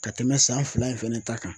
Ka tɛmɛn san fila in fɛnɛ ta kan.